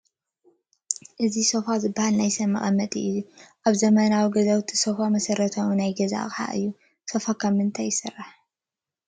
እዚ ሶፋ ዝበሃል ናይ ሰብ መቐመጢ እዩ፡፡ ኣብ ዘመናዊ ገዛውቲ ሶፍ መሰረታዊ ናይ ገዛ ኣቕሓ እዩ፡፡ ሶፋ ካብ ምንታይ ይስራሕ?